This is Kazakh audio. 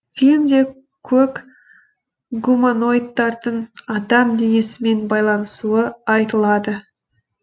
фильмде көк гуманоидтардың адам денесімен байланысуы айтылады